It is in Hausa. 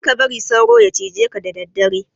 karka bari sauro ya jije ka da daddare